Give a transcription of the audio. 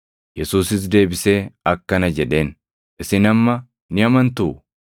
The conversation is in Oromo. Yesuusis deebisee akkana jedheen; “Isin amma ni amantuu?